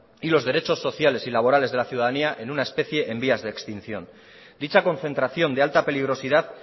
y los derechos sociales y laborales de la ciudadanía en una especie en vías de extinción dicha concentración de alta peligrosidad